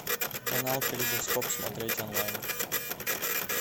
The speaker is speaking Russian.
канал калейдоскоп смотреть онлайн